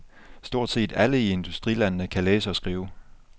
Stort set alle i industrilandene kan læse og skrive.